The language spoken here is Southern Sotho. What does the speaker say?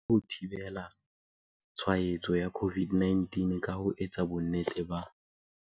O ka thusa ho thibela tshwa etso ya COVID-19 ka ho etsa bonnete ba.